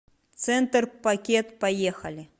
центр пакет поехали